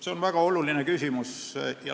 See on väga oluline küsimus.